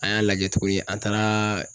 An y'a lajɛ tuguni an taaraa